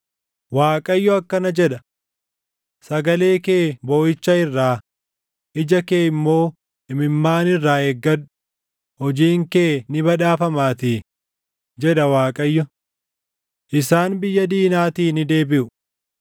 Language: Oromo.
Waaqayyo akkana jedha: “Sagalee kee booʼicha irraa, ija kee immoo imimmaan irraa eeggadhu; hojiin kee ni badhaafamaatii” jedha Waaqayyo. “Isaan biyya diinaatii ni deebiʼu.